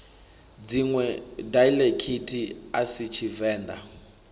dziṋwe daiḽekithi a si tshivenḓa